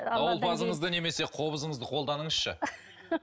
дауылпазыңызды немесе қобызыңызды қолданыңызшы